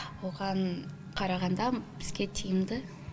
оған қарағанда бізге тиімді